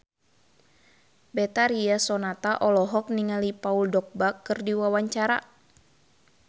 Betharia Sonata olohok ningali Paul Dogba keur diwawancara